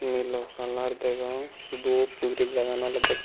nilo color degong dup guri jagan olodey.